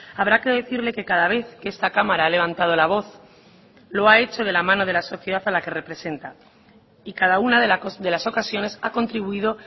habrá que decirle que cada vez que esta cámara ha levantado la voz lo ha hecho de la mano de la sociedad a la que representa y cada una de las ocasiones ha contribuido